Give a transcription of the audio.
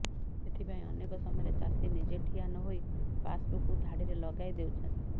ଏଥିପାଇଁ ଅନେକ ସମୟରେ ଚାଷୀ ନିଜେ ଠିଆ ନହୋଇ ପାସବୁକକୁ ଧାଡିରେ ଲଗାଇ ଦେଉଛନ୍ତି